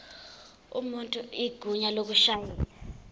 umuntu igunya lokushayela